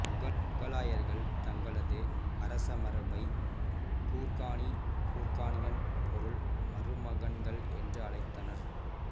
முகலாயர்கள் தங்களது அரசமரபை குர்கானி குர்கானியன் பொருள் மருமகன்கள் என்று அழைத்தனர்